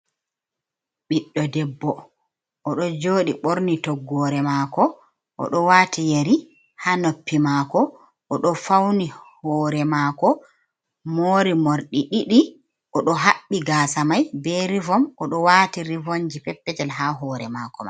Ɓiɗɗo debbo o ɗo joɗi ɓorni toggore mako, o ɗo wati yari ha noppi mako, o ɗo fauni hore mako mori morɗi ɗiɗi, o ɗo haɓɓi gasa mai be rivom, o ɗo wati rivonji perpetel ha hore mako.